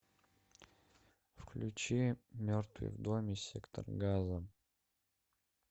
включи мертвый в доме сектор газа